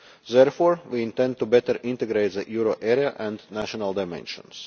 Therefore we intend to better integrate the euro area and national dimensions.